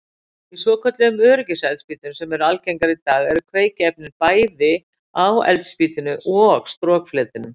Í svokölluðum öryggiseldspýtum sem eru algengar í dag eru kveikiefnin bæði á eldspýtunni og strokfletinum.